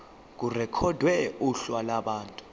irekhodwe kuhla lwabantu